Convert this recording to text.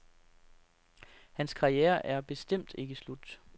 Hans karriere er bestemt ikke slut.